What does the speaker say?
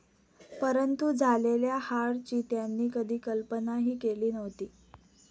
परंतु झालेल्या हार ची त्यांनी कधी कल्पना ही केली नव्हती.